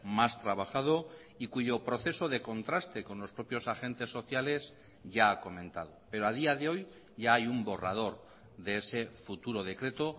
más trabajado y cuyo proceso de contraste con los propios agentes sociales ya ha comentado pero a día de hoy ya hay un borrador de ese futuro decreto